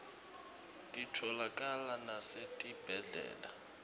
titfolakala nasetibhedlela